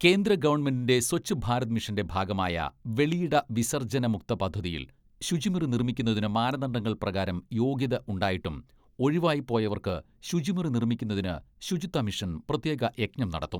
കേന്ദ്ര ഗവൺമെന്റിന്റെ സ്വച്ഛ് ഭാരത് മിഷന്റെ ഭാഗമായ വെളിയിട വിസർജ്ജനമുക്ത പദ്ധതിയിൽ ശുചിമുറി നിർമ്മിക്കുന്നതിന് മാനദണ്ഡങ്ങൾ പ്രകാരം യോഗ്യത ഉണ്ടായിട്ടും ഒഴിവായി പോയവർക്ക് ശുചിമുറി നിർമിക്കുന്നതിന് ശുചിത്വ മിഷൻ പ്രത്യേക യജ്ഞം നടത്തും.